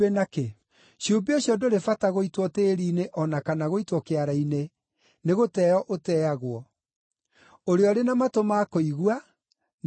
Cumbĩ ũcio ndũrĩ bata gũitwo tĩĩri-inĩ o na kana gũitwo kĩara-inĩ, nĩgũteeo ũteagwo. “Ũrĩa ũrĩ na matũ ma kũigua, nĩakĩigue.”